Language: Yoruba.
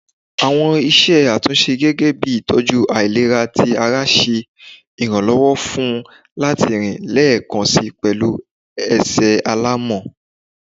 Awọn iṣẹ atunṣe gẹgẹbi itọju ailera ti ara ṣe iranlọwọ fun u lati rin lẹẹkansi pẹlu ẹsẹ alamọ